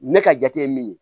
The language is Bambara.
Ne ka jate ye min ye